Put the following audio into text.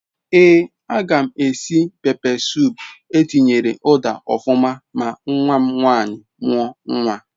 Ee a gam esi pepe sup etinyere uda ofuma ma nwam nwanyi muo nwa